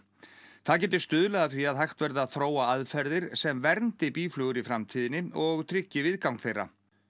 það geti stuðlað að því að hægt verði að þróa aðferðir sem verndi býflugur í framtíðinni og tryggi viðgang þeirra